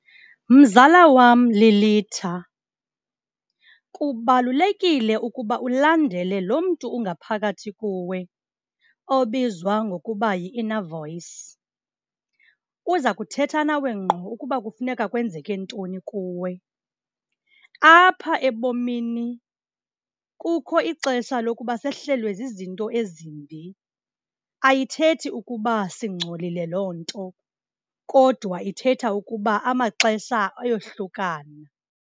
Mzala wam, Lilitha, kubalulekile ukuba ulandele lo mntu ungaphakathi kuwe obizwa ngokuba yi-inner voice. Uza kuthetha nawe ngqo ukuba kufuneka kwenzeke ntoni kuwe. Apha ebomini kukho ixesha lokuba sehlelwe zizinto ezimbi, ayithethi ukuba singcolile loo nto kodwa ithetha ukuba amaxesha ayohlukana.